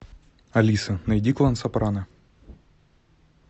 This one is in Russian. алиса найди клан сопрано